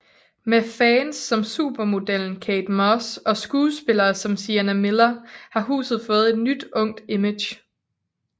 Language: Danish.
Med fans som supermodellen Kate Moss og skuespillere som Sienna Miller har huset fået et nyt ungt image